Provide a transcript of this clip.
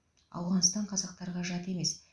ауғанстан қазақтарға жат емес